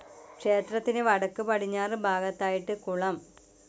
ക്ഷേത്രത്തിനു വടക്കു പടിഞ്ഞാറ് ഭാഗത്തായിട്ട് കുളം.